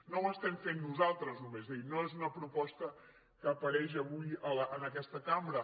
no ho estem fent nosaltres només és a dir no és una proposta que apareix avui en aquesta cambra